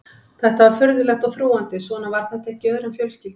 Þetta var furðulegt og þrúgandi, svona var þetta ekki í öðrum fjölskyldum.